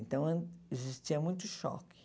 Então, existia muito choque.